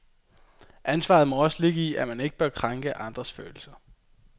Ansvaret må også ligge i, at man ikke bør krænke andres følelser.